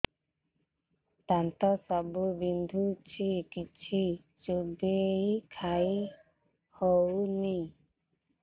ଦାନ୍ତ ସବୁ ବିନ୍ଧୁଛି କିଛି ଚୋବେଇ ଖାଇ ହଉନି